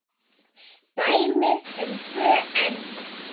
Dæmi um tvö enn